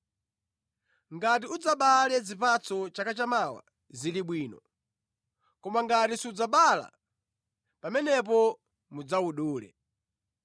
Ngati udzabale zipatso chaka chamawa, zili bwino! Koma ngati sudzabala, pamenepo mudzawudule.’ ”